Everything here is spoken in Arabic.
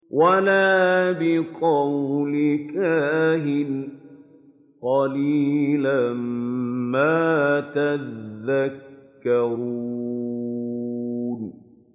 وَلَا بِقَوْلِ كَاهِنٍ ۚ قَلِيلًا مَّا تَذَكَّرُونَ